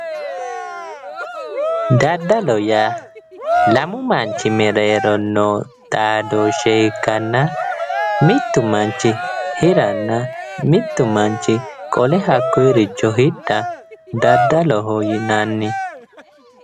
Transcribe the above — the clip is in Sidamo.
Daddalo yaa lamu manchi mereero noo xaadooshshe ikkanna mittu manchi hiranna mittu manchi qole hakkoricho hidha daddaloho yinanni